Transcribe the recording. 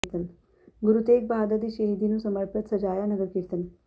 ਗੁਰੂ ਤੇਗ ਬਹਾਦਰ ਦੀ ਸ਼ਹੀਦੀ ਨੂੰ ਸਮਰਪਿਤ ਸਜਾਇਆ ਨਗਰ ਕੀਰਤਨ